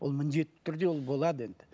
ол міндеті түрде ол болады енді